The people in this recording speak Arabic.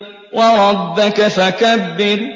وَرَبَّكَ فَكَبِّرْ